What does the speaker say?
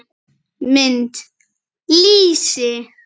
Mynd: Lýsi.